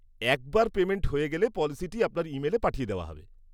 একবার পেমেন্ট হয়ে গেলে, পলিসিটি আপনার ইমেলে পাঠিয়ে দেওয়া হবে।